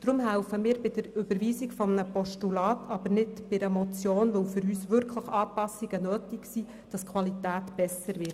Darum helfen wir bei der Überweisung eines Postulats, aber nicht bei einer Motion, weil für uns wirklich Anpassungen nötig sind, damit die Qualität besser wird.